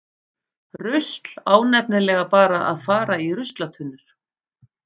Rusl á nefnilega bara að fara í ruslatunnur.